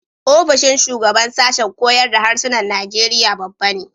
Ofishin shugaban sashen koyar da Harsunan Najeriya babba ne.